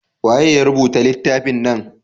waye ya rubuta littafin nan?